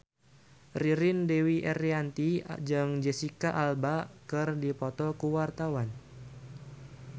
Ririn Dwi Ariyanti jeung Jesicca Alba keur dipoto ku wartawan